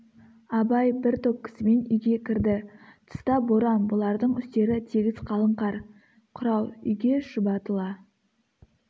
абай бір топ кісімен үйге кірді тыста боран бұлардың үстері тегіс қалың қар қырау үйге шұбатыла